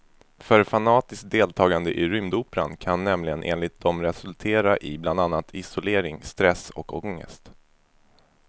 För fanatiskt deltagande i rymdoperan kan nämligen enligt dem resultera i bland annat isolering, stress och ångest.